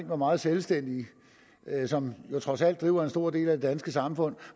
hvor meget selvstændige som jo trods alt driver en stor del af det danske samfund